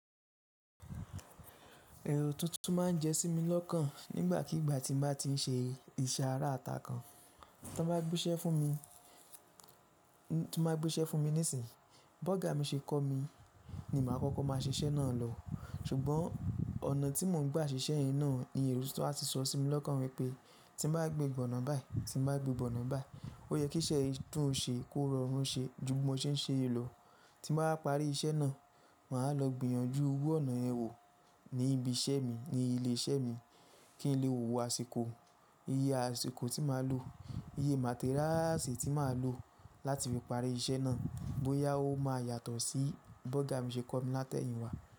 Èrò tuntun má n jẹ sí mi lọ́kàn nígbàkígbà tí n bá ti n ṣe ìseàrà ata kan tó bá gbéṣẹ́ fún mi, tó bá gbéṣẹ́ fún mi nísìyí. Bọ́gà mi ṣe kọ́ mi ni màá kọ́kọ́ má a ṣe iṣẹ́ náà lọ. Ṣùgbọ́n ọ̀nà tí mò n gbá ṣíṣe yen náà ni èrò tuntun a ti sọ sí mi lọ́kàn wípé tí n bá gbé gbóná báyìí, tí n bá gbé gbóná báyìí, ó yẹ kí iṣẹ́ yìí dún ṣe kó rọrùn ṣe ju bí mo ṣe ń ṣe èlò. Ti n báa wa parí iṣẹ́ náà, màá lọ gbìyànjú iru ọ̀nà yen wò ní ibi iṣẹ́ mi ní ilé iṣẹ́ mi kí n lè wo àsìkò, iye àsìkò tí màá lò, iye materials tí màá lò láti fi parí iṣẹ́ náà bóyá ó ma yàtọ̀ sí bọ́gà mi ṣe kọ́ mi látẹ̀yìnwá.